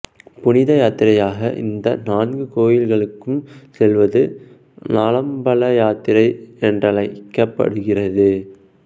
புனித யாத்திரையாக இந்த நான்கு கோயில்களுக்கும் செல்வது நாலம்பல யாத்திரை என்றழைக்கப்படுகிறது